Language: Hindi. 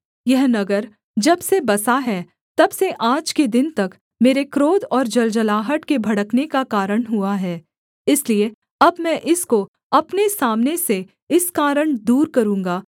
यह नगर जब से बसा है तब से आज के दिन तक मेरे क्रोध और जलजलाहट के भड़कने का कारण हुआ है इसलिए अब मैं इसको अपने सामने से इस कारण दूर करूँगा